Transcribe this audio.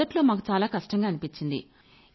మొదట్లో మాకు చాలా కష్టంగా అనిపించింది